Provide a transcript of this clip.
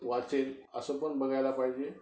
वाचेल असं पण बघायला पाहिजे.